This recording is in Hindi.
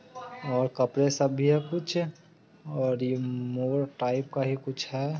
और कपड़े यह सब कुछ और यह मोड़ टाइप का ही कुछ है।